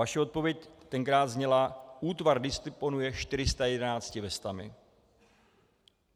Vaše odpověď tenkrát zněla: útvar disponuje 411 vestami.